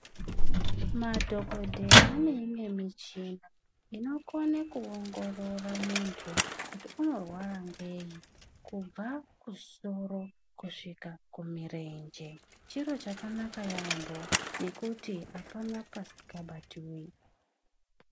Madhokodheya ane imwe muchina inokone kuongorora muntu kuti unorwara ngei kubva kusoro kusvika kumirenje. Chiro chakanaka yaampho ngekuti apana pasikabatiwi.